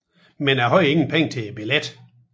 Men jeg hadde ingen Penger til Billetten